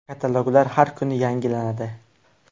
Kataloglar har kuni yangilanadi.